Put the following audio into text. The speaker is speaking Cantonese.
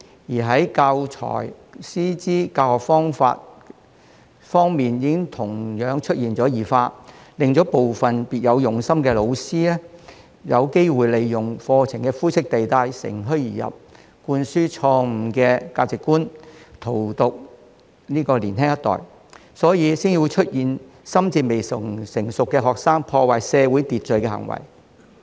此外，教材、師資及教學方法方面亦同樣出現異化，令部分別有用心的老師有機會利用課程的灰色地帶乘虛而入，灌輸錯誤的價值觀，荼毒年輕一代，所以才會出現心智未成熟的學生破壞社會秩序的行為。